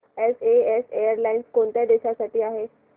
SAS airlines कोणत्या देशांसाठी आहे